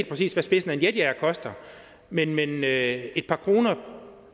præcis hvad spidsen af en jetjager koster men men er et par kroner